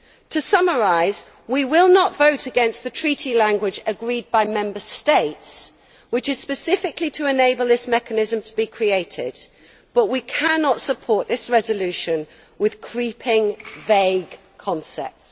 To summarise, we will not vote against the Treaty language agreed by Member States, which is specifically to enable this mechanism to be created, but we cannot support this resolution with creeping, vague concepts.